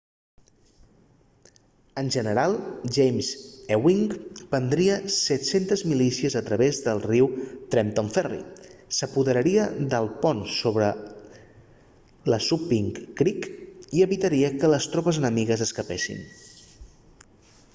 el general james ewing prendria 700 milícies a través del riu a trenton ferry s'apoderaria del pont sobre el assunpink creek i evitaria que les tropes enemigues escapessin